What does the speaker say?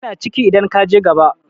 yana ciki idan ka je gaba